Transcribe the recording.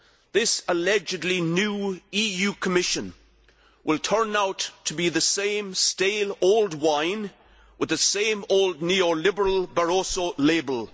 This allegedly new EU Commission will turn out to be the same stale old wine with the same old neoliberal Barroso label.